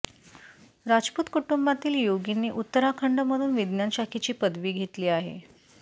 राजपूत कुटुंबातील योगींनी उत्तराखंडमधून विज्ञान शाखेची पदवी घेतली आहे